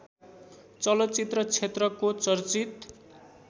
चलचित्र क्षेत्रको चर्चित